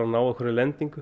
ná einhverri lendingu